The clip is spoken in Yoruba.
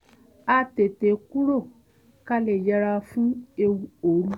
a tètè kúrò ká lè yẹra fún ewu òru